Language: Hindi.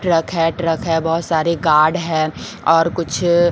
ट्रक है ट्रक है बहुत सारे गार्ड हैं और कुछ--